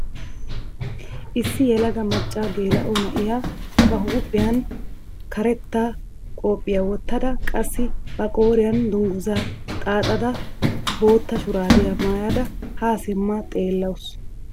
Issi yelaga macca geela'o na'iyaa ba huuphphiyaan karetta qophphiyaa wottada qassi ba qooriyaan dunguzaa xaaxidaara bootta shuraabiyaa maayada haa simma xeellawus.